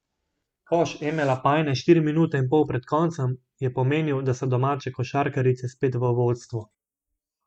Koš Eme Lapajne štiri minute in pol pred koncem je pomenil, da so domače košarkarice spet v vodstvu.